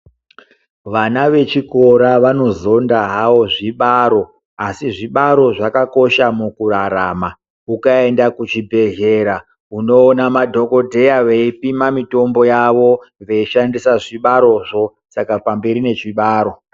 Vana vechikora vanozonda havo zvibaro asi zvibaro zvakakosha mukurarama .Ukaenda kuzvibhehlera unoona madhokodheya vepima mutombo yavo veshandisa zvibarozvo saka pamberi nezvibaro.